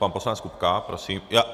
Pan poslanec Kupka, prosím.